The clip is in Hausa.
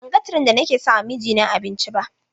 Ban ga tiren da nake sama mijina abinci ba.